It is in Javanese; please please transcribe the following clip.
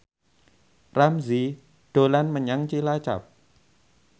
Ramzy dolan menyang Cilacap